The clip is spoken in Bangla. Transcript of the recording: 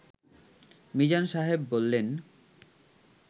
মিজান সাহেব বললেন